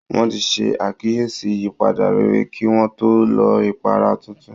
Wọ́n ti ṣe àkíyèsí ìyípadà rere kí wọ́n tó lo ipara tuntun